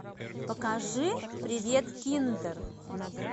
покажи привет киндер